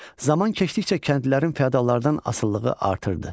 Zaman keçdikcə kəndlilərin fiodallardan asılılığı artırdı.